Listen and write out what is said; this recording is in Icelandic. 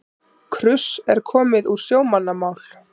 Kruss er komið úr sjómannamál.